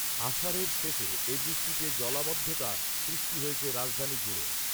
আষাঢ়ের শেষে এ বৃষ্টিতে জলাবদ্ধতা সৃষ্টি হয়েছে রাজধানীজুড়ে